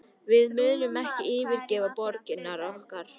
Við munum ekki yfirgefa borgirnar okkar